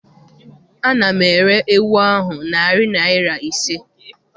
Ana m ere ewu ahụ narị naịra ise.